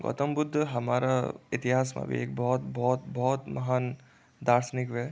गौतम बुद्ध हमारा इतिहास मा भी एक भौत भौत भौत महान दार्शनिक व्ये।